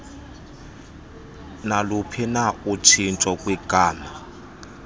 naluphina utshintsho kwigama